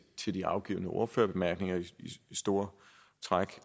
til de afgivne ordførerbemærkninger i store træk